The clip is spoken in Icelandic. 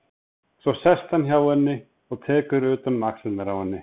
Svo sest hann hjá henni og tekur utan um axlirnar á henni.